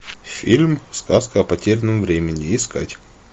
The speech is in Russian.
фильм сказка о потерянном времени искать